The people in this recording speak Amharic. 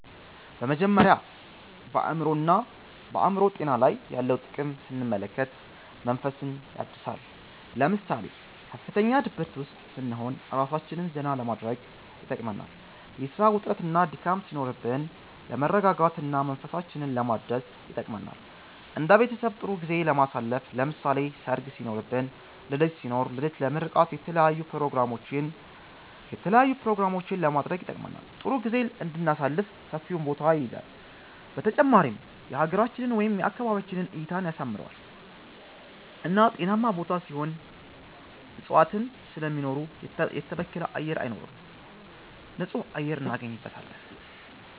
በመጀመሪያ በአእምሮ ጤና ላይ ያለውን ጥቅም ስንመለከት መንፈስን ያድሳል ለምሳሌ ከፍተኛ ድብርት ውስጥ ስንሆን እራሳችንን ዘና ለማድረግ ይጠቅመናል የስራ ውጥረትና ድካም ሲኖርብን ለመረጋጋት እና መንፈሳችንን ለማደስ ይጠቅመናል እንደ ቤተሰብ ጥሩ ጊዜ ለማሳለፍ ለምሳሌ ሰርግ ሲኖርብን ልደት ሲኖር ልደት ለምርቃት የተለያዪ ኘሮግራሞችንም ለማድረግ ይጠቅመናል ጥሩ ጊዜም እንድናሳልፍ ሰፊውን ቦታ ይይዛል በተጨማሪም የሀገራችንን ወይም የአካባቢያችንን እይታን ያሳምረዋል እና ጤናማ ቦታ ሲሆን እፅዋትን ስለሚኖሩ የተበከለ አየር አይኖርም ንፁህ አየር እናገኝበታለን